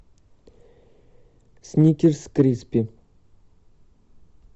сникерс криспи